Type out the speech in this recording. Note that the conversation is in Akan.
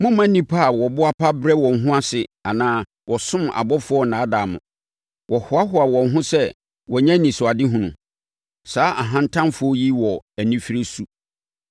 Mommma nnipa a wɔboa pa brɛ wɔn ho ase anaa wɔsom abɔfoɔ nnaadaa mo; wɔhoahoa wɔn ho sɛ wɔanya anisoadehunu. Saa ahantanfoɔ yi wɔ anifire su.